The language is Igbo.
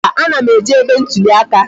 Mba, a na m eje ebe ntụli aka